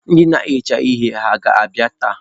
Ndị na-ehicha ihe ha ga-abịa taa?